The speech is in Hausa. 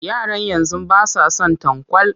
Yaran yanzu ba sa son tanƙwal